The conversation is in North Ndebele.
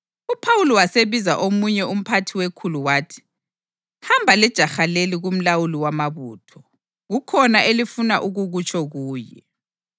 UPhawuli wasebiza omunye umphathi wekhulu wathi, “Hamba lejaha leli kumlawuli wamabutho; kukhona elifuna ukukutsho kuye.”